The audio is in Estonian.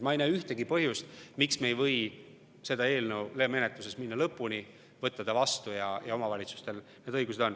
Ma ei näe ühtegi põhjust, miks me ei või selle eelnõu menetlusega minna lõpuni, võtta ta vastu ja anda omavalitsustele need õigused.